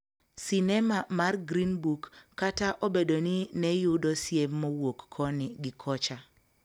Sinema mar Green Book kata obedo ni ne yudo siem mowuok koni gi kocha